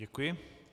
Děkuji.